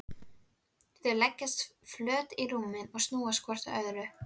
Þau leggjast flöt á rúmið og snúa hvort að öðru.